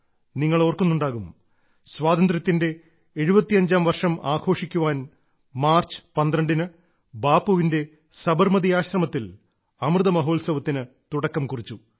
നിങ്ങൾ ഓർക്കുന്നുണ്ടാകും സ്വാതന്ത്ര്യത്തിന്റെ 75ാം വർഷം ആഘോഷിക്കാൻ മാർച്ച് 12ന് ബാപ്പുവിന്റെ സബർമതി ആശ്രമത്തിൽ അമൃത മഹോത്സവത്തിന് തുടക്കം കുറിച്ചു